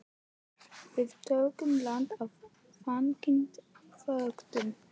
Við tökum land á þangi þöktum kletti.